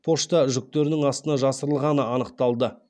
пошта жүктерінің астына жасырылғаны анықталды